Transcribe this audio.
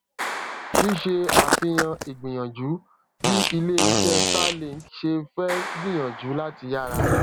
ṣíṣe àfihàn ìgbìyànjú bí ilé iṣé starlink ṣe fé gbìyànjú láti yára